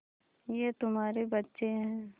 ये तुम्हारे बच्चे हैं